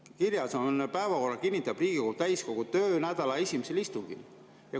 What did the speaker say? Kirjas on, et päevakorra kinnitab Riigikogu täiskogu töönädala esimesel istungil.